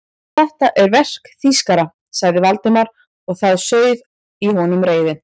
Þetta er verk þýskara sagði Valdimar og það sauð í honum reiðin.